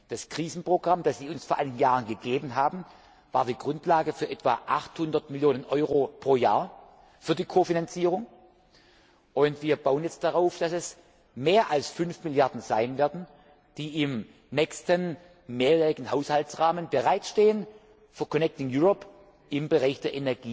Das Krisenprogramm, das Sie uns vor einigen Jahren gegeben haben, war die Grundlage für etwa 800 Millionen Euro pro Jahr für die Ko Finanzierung. Wir bauen jetzt darauf, dass es mehr als 5 Milliarden Euro sein werden, die im nächsten mehrjährigen Haushaltsrahmen für Connecting Europe im Bereich